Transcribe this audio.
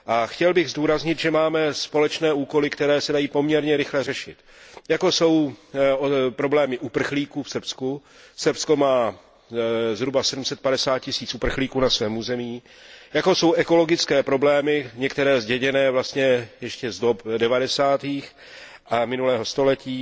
Chtěl bych zdůraznit, že máme společné úkoly, které se dají poměrně rychle řešit, jako jsou problémy uprchlíků v Srbsku Srbsko má na svém území zhruba 750 tisíc uprchlíků jako jsou ekologické problémy, některé zděděné vlastně ještě z let devadesátých minulého století,